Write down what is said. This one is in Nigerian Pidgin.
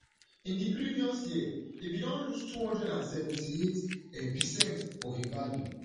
in di previous year e bin don lose two hundred and seventy-eight um percent of e value